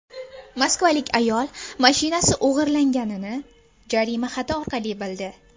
Moskvalik ayol mashinasi o‘g‘irlanganini jarima xati orqali bildi.